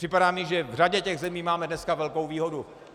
Připadá mi, že v řadě těch zemí máme dneska velkou výhodu.